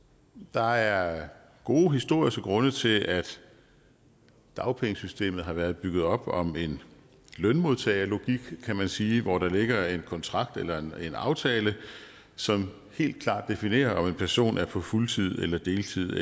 der er gode historiske grunde til at dagpengesystemet har været bygget op om en lønmodtagerlogik kan man sige hvor der ligger en kontrakt eller en aftale som helt klart definerer om en person er på fuldtid eller deltid